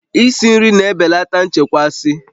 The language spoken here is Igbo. Isi nri na-ebelata nchekasị